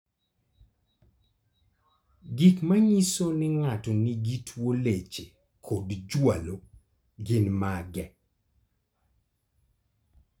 Gik manyiso ni ng'ato nigi tuwo leche kod jwalo gin mage?